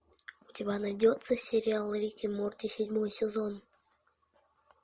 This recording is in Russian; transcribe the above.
у тебя найдется сериал рик и морти седьмой сезон